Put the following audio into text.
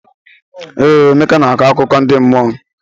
Ee, Emeka na-akọ akụkọ ndi mmụọ.